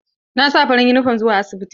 Na sa farar yunifom zuwa asibiti.